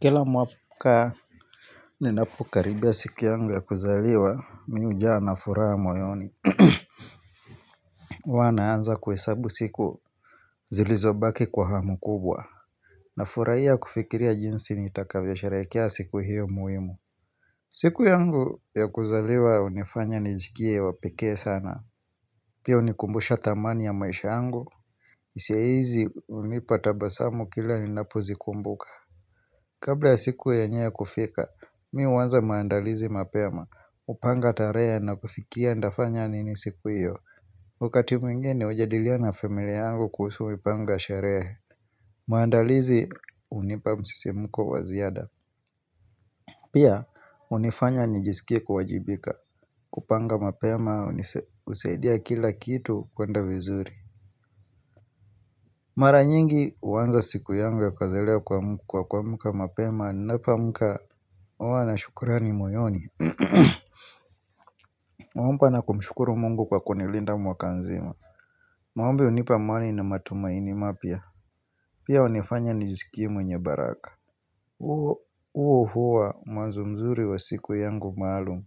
Kila mwaka ninapokaribia siku yangu ya kuzaliwa mimi hujaa na furaha moyoni. Huwa naanza kuhesabu siku zilizobaki kwa hamu kubwa. Nafurahia kufikiria jinsi nitakavyo sherehekea siku hiyo muhimu siku yangu ya kuzaliwa hunifanya nijikie wa peke sana Pia hunikumbusha dhamani ya maisha yangu hisia hizi hunipa tabasamu kila ninapozikumbuka Kabla ya siku yenyewe kufika, mimi huanza maandalizi mapema, kupanga tarehe na kufikia nitafanya nini siku hiyo Wakati mwingine hujadilina na familia yangu kuhusu mipango ya sherehe. Maandalizi hunipa msisimko wa ziada. Pia, hunifanya nijisikia kuwajibika, kupanga mapema, husaidia kila kitu kwenda vizuri Mara nyingi huanza siku yangu ya kazi ya leo kwa kuamka mapema. Ninapoamka huwa na shukurani moyoni. Naomba na kumshukuru mungu kwa kunilinda mwaka nzima. Maombi hunipa amani na matumaini mapya. Pia hunifanya nijisikie mwenye baraka huo huwa mwanzo mzuri wa siku yangu maalum.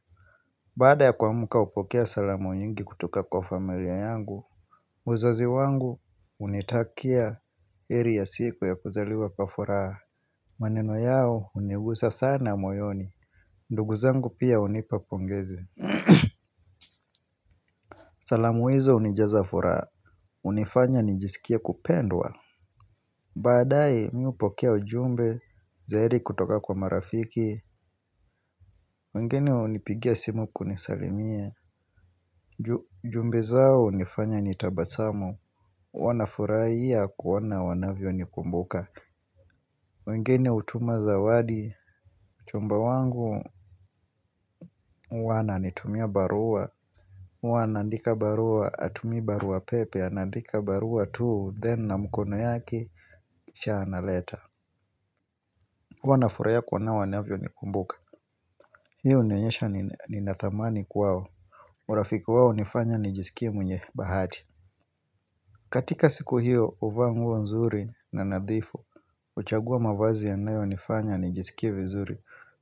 Baada ya kuamka hupokea salamu nyingi kutoka kwa familia yangu. Wazazi wangu hunitakia heri ya siku ya kuzaliwa kwa furaha. Maneno yao hunigusa sana moyoni ndugu zangu pia hunipa pongezi. Salamu hizo hunijaza furaha. Hunifanya nijisikie kupendwa. Badaye mimi hupokea ujumbe. Za heri kutoka kwa marafiki. Wengine hunipigia simu kunisalimia. Jumbe zao hunifanya nitabasamu. Huwa nafurahia kuoana vile wanavyo nikumbuka. Wengine hutuma zawadi. Mchumba wangu huwa ananitumia barua huwa anaandika barua hatumii barua pepe Anaandika barua tu, Then na mkono yake. Kisha analeta. Huwa nafurahia kuona wanavyo nikumbuka. Hiyo hunionyesha ninathamani kwao. Marafiki wao hunifanya nijisikie mwenye bahati. Katika siku hiyo huvaa nguo nzuri na nadhifu huchagua mavazi yanayonifanya nijisikie vizuri.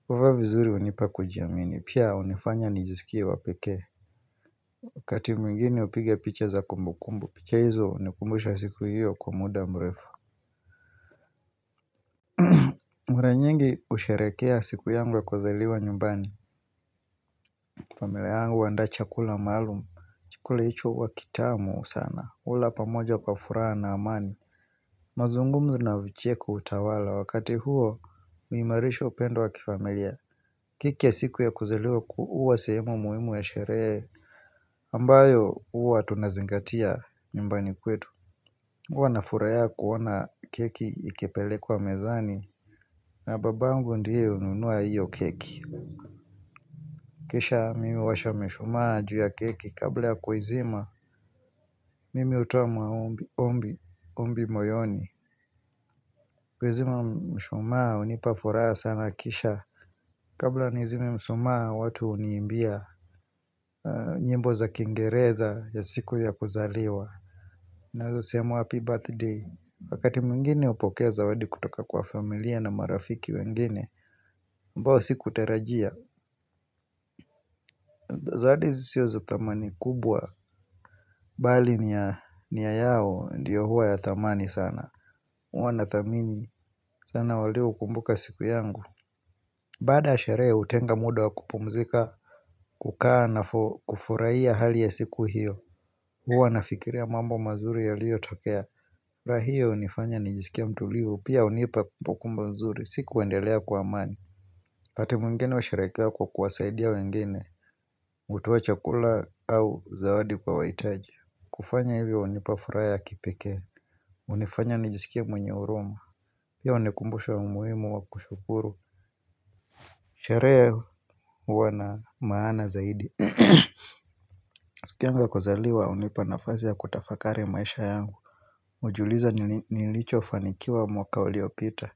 Kuvaa vizuri hunipa kujiamini. Pia hunifanya nijisikie wa pekee. Wakati mwingini hupiga picha za kumbukumbu. Picha hizo hunikumbusha siku hiyo kwa muda mrefu. Mara nyingi husherekea siku yangu ya kuzaliwa nyumbani. Familia yangu huanda chakula maalum. Chakula hicho huwa kitamu sana. Hula pamoja kwa furaha na amani mazungumzo na vicheko hutawala wakati huo kuimarisha upendo wa kifamilia. Kike siku ya kuzaliwa huwa sehemu muhimu ya sherehe ambayo huwa tunazingatia nymbani kwetu. Huwa nafurahia kuona keki ikepelekwa mezani. Na babangu ndiye hununua hiyo keki. Kisha mimi huwasha mishumaa juu ya keki kabla ya kuizima. Mimi hutoa maombi ombi moyoni Kuizima mshumaa hunipa furaha sana kisha Kabla nizime mshumaa watu huniimbia nyimbo za kingereza ya siku ya kuzaliwa. Naeza sema happy birthday Wakati mwingine upokea zawadi kutoka kwa familia na marafiki wengine ambao sikutarajia Zawadi zisio za thamani kubwa Bali nia yao ndiyo huwa ya thamani sana huwa na thamini sana waliokumbuka siku yangu Baada ya sherehe hutenga muda wa kupumzika kukaa na kufurahia hali ya siku hiyo huwa nafikiria mambo mazuri yaliotokea raha hio unifanya nijisikie mtulivu Pia hunipa pukumbo nzuri, si kuendelea kwa amani wakati mwingine husherehekea kwa kuwa saidia wengine hutoa chakula au zawadi kwa wahitaji kufanya hivyo unipa furaha ya kipekee unifanya nijisikie mwenye huruma Pia unikumbusha umuhimu wa kushukuru Sherehe huwa na maana zaidi siku yangu ya kuzaliwa hunipa nafasi ya kutafakari maisha yangu hujiuliza ni nini nilichofanikiwa mwaka uliopita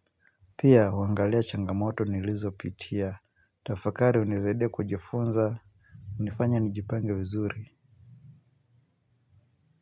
Pia huangalia changamoto nilizo pitia Tafakari hunisaidia kujifunza, unifanya nijipange vizuri.